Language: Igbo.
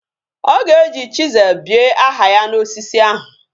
Oga eji chisel bie aha ya na osisi ahu